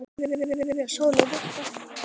Kveðja, Sóley Birta.